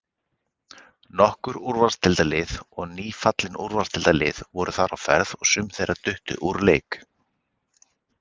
Nokkur Úrvalsdeildarlið og nýfallin Úrvalsdeildarlið voru þar á ferð og sum þeirra duttu úr leik.